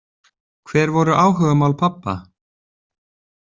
Hver voru áhugamál pabba?